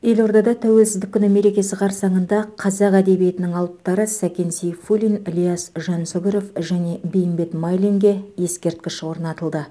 елордада тәуелсіздік күні мерекесі қарсаңында қазақ әдебиетінің алыптары сәкен сейфуллин ілияс жансүгіров және бейімбет майлинге ескерткіш орнатылды